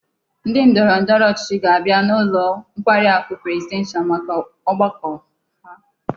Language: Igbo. Ndi ndoro ndoro ochichi ga-abia n'ulo nkwari aku presidential maka ogbako ha